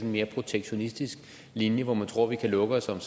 mere protektionistisk linje hvor man tror vi kan lukke os om